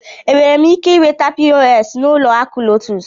M nwere ike inweta POS n'ụlọ akụ LOTUS?